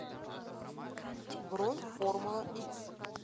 бронь формула икс